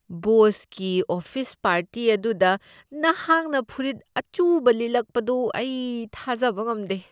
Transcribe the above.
ꯕꯣꯁꯀꯤ office party ꯑꯗꯨꯗ ꯅꯍꯥꯛꯅ ꯐꯨꯔꯤꯠ ꯑꯆꯨꯕ ꯂꯤꯠꯂꯛꯄꯗꯨ ꯑꯩ ꯊꯥꯖꯕ ꯉꯝꯗꯦ ꯫